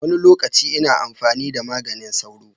Wani lokaci ina amfani da maganin sauro.